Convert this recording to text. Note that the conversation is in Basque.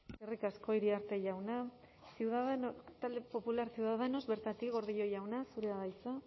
eskerrik asko iriarte jauna talde popular ciudadanos bertatik gordillo jauna zurea da hitza